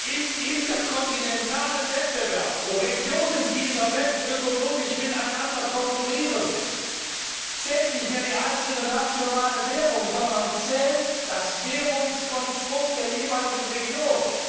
Im interkontinentalen Wettbewerb, wo Regionen dieser Welt ökonomisch miteinander konkurrieren, zählt nicht mehr die einzelne nationale Währung, sondern zählt das Währungskonstrukt der jeweiligen Region.